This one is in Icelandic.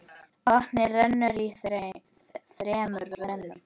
Vatnið rennur í þremur rennum.